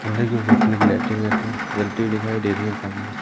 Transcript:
खंभे के ऊपर लाइटिंग जलती हुई दिखाई दे रही सामने--